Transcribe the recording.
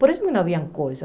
Por isso não havia coisa.